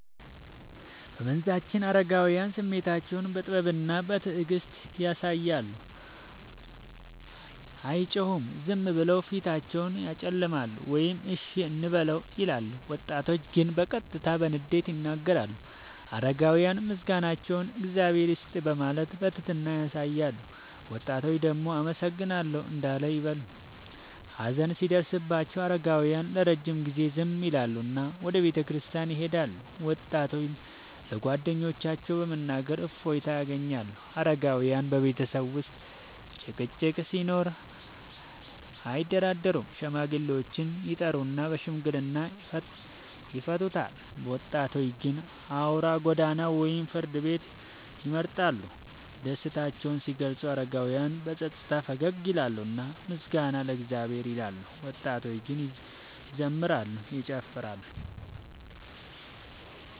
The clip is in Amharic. በመንዛችን አረጋውያን ስሜታቸውን በጥበብና በትዕግስት ያሳያሉ፤ አይጮሁም፤ ዝም ብለው ፊታቸውን ያጨለማሉ ወይም “እሺ እንበለው” ይላሉ። ወጣቶች ግን በቀጥታ በንዴት ይናገራሉ። አረጋውያን ምስጋናቸውን “እግዚአብሔር ይስጥህ” በማለት በትህትና ያሳያሉ፤ ወጣቶች ደግሞ “አመሰግናለሁ” እንዳል ይበሉ። ሀዘን ሲደርስባቸው አረጋውያን ለረጅም ጊዜ ዝም ይላሉና ወደ ቤተክርስቲያን ይሄዳሉ፤ ወጣቶች ለጓደኞቻቸው በመናገር እፎይታ ያገኛሉ። አረጋውያን በቤተሰብ ውስጥ ጭቅጭቅ ሲኖር አያደራደሩም፤ ሽማግሌዎችን ይጠሩና በሽምግልና ይፈቱታል። ወጣቶች ግን አውራ ጎዳና ወይም ፍርድ ቤት ይመርጣሉ። ደስታቸውን ሲገልጹ አረጋውያን በጸጥታ ፈገግ ይላሉና “ምስጋና ለእግዚአብሔር” ይላሉ፤ ወጣቶች ግን ይዘምራሉ፤ ይጨፍራሉ።